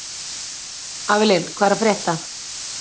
Avelin, hvað er að frétta?